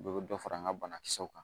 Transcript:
Dɔ bɛ dɔ fara an ka banakisɛw kan